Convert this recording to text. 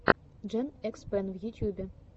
джен экс пен в ютюбе